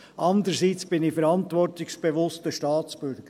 Andererseits bin ich verantwortungsbewusster Staatsbürger.